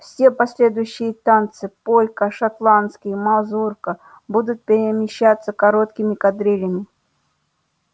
все последующие танцы полька шотландский мазурка будут перемещаться короткими кадрилями